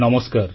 ନମସ୍କାର